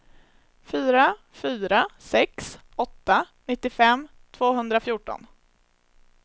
fyra fyra sex åtta nittiofem tvåhundrafjorton